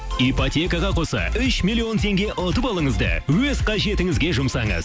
ипотекаға қоса үш миллион теңге ұтып алыңыз да өз қажетіңізге жұмсаңыз